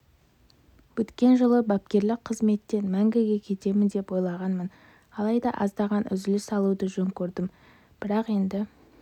өткен жылы бапкерлік қызметтен мәңгіге кетемін деп ойлағанмын алайда аздаған үзіліс алуды жөн көрдім бірақ енді